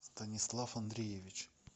станислав андреевич